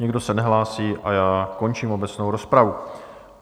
Nikdo se nehlásí a já končím obecnou rozpravu.